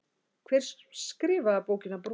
Hver skrifaði bókina Brúðan?